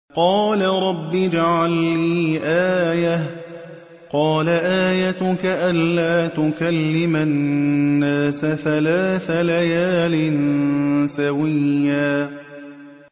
قَالَ رَبِّ اجْعَل لِّي آيَةً ۚ قَالَ آيَتُكَ أَلَّا تُكَلِّمَ النَّاسَ ثَلَاثَ لَيَالٍ سَوِيًّا